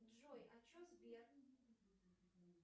джой а че сбер